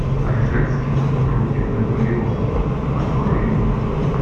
ржевский против наполеона открой мне